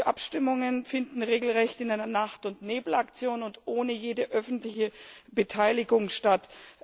Die Abstimmungen finden regelrecht in einer Nacht und Nebel Aktion und ohne jede öffentliche Beteiligung statt.